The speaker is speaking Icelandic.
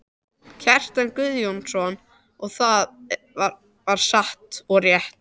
Kjartan Guðjónsson, og það var satt og rétt.